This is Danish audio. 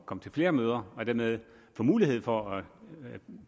komme til flere møder og dermed få mulighed for at